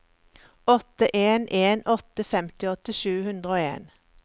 åtte en en åtte femtiåtte sju hundre og en